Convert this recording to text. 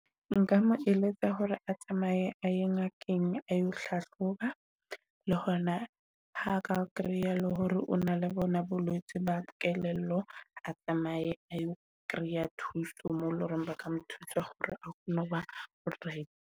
Nka mo eletsa hore a tsamaye a ye ngakeng, a yo hlahloba le hona ha ka kreya le hore o na le bona bolwetsi ba kelello a tsamaye kreya thuso mo e leng hore ba ka mo thusa hore ono ba all right.